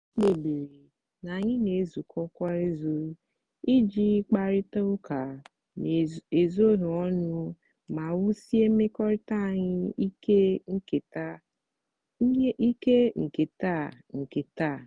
anyị kpebiri na anyị na-ezukọ kwa izu iji kparịta ụka n'ezoghị ọnụ ma wusie mmekọrịta anyị ike nke nta nke nta.